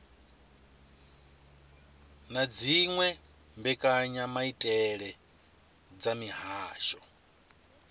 na dziwe mbekanyamaitele dza mihasho